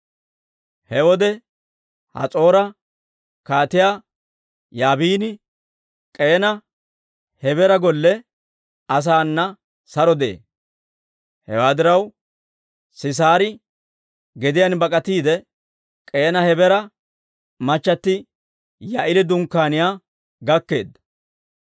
He wode Has'oora Kaatiyaa Yaabini K'eena Hebeera golle asaana saro de'ee. Hewaa diraw, Sisaari gediyaan bak'atiide, K'eena Hebeera machchatti Yaa'eeli dunkkaaniyaa gakkeedda.